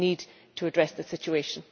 We need to address the situation.